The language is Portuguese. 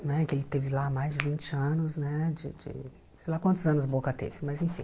né que ele teve lá há mais de vinte anos né, de de sei lá quantos anos o Boca teve, mas enfim.